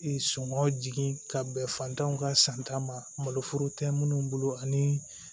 Ee songɔ jigin ka bɛn fantanw ka san tan maloforo tɛ minnu bolo ani